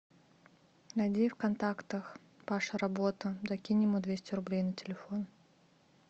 найди в контактах паша работа закинь ему двести рублей на телефон